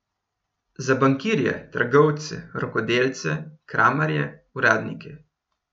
Za bankirje, trgovce, rokodelce, kramarje, uradnike.